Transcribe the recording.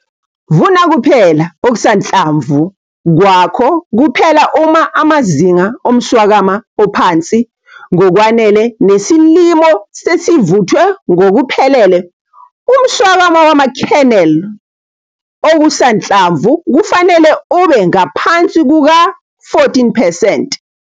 Vuna kuphela okusanhlamvu kwakho kuphela uma amazinga omswakama ophansi ngokwanele nesilimo sesivuthwe ngokuphelele. Umswakama wama-kernel okusanhlamvu kufanele ube ngaphansi kuka-14 percent.